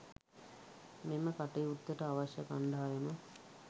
මෙම කටයුත්තට අවශ්‍ය කණ්ඩායම